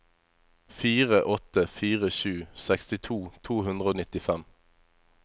fire åtte fire sju sekstito to hundre og nittifem